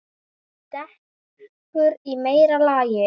Dekur í meira lagi.